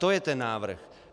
To je ten návrh.